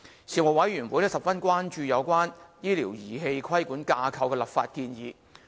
事務委員會十分關注有關醫療儀器規管架構的立法建議。